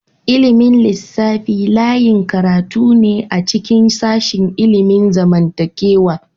Ilimin lissafi layin karatu ne a cikin sashin ilimin zamantakewa.